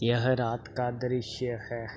यह रात का दृश्य है।